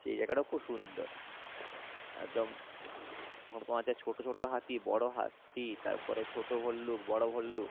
সেই জায়গা টা খুব সুন্দর একদম ভোরখানরে ছোট ছোট হাতি বোরো হাতি তার পরে ছোট ভল্লুক বোরো ভল্লুক